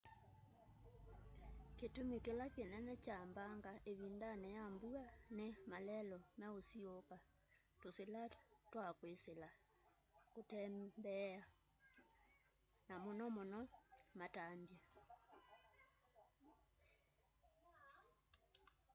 kitumi kila kinene kya mbanga ivindani ya mbua ni malelu meusiiuuka tusila twa kwisila kutembeela na muno muno matambya